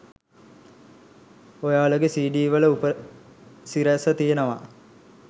ඔයාලගෙ CD වල උපසිරැස තියෙනව